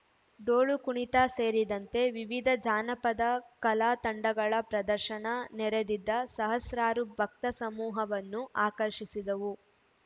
ಡೋಲು ಕುಣಿತ ಸೇರಿದಂತೆ ವಿವಿಧ ಜಾನಪದ ಕಲಾ ತಂಡಗಳ ಪ್ರದರ್ಶನ ನೆರೆದಿದ್ದ ಸಹಸ್ರಾರು ಭಕ್ತ ಸಮೂಹವನ್ನು ಆಕರ್ಷಿಸಿದವು